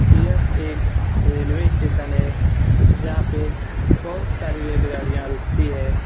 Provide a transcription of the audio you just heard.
यह एक railway station है जहाँ पे बहुत सारी रेलगाड़ियाँ रूकती है।